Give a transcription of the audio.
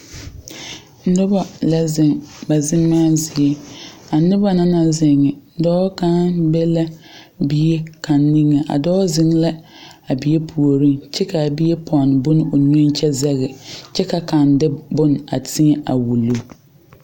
Noba la zeŋ ba zemaa zie. A neba na naŋ zeŋe, dɔɔ kang be la bie kang niŋe. A dɔɔ zeŋ la a bie pooreŋ kyɛ ka a bie ponne bon o nu kyɛ zege. Kyɛ ka kang de bon a teɛ a wuli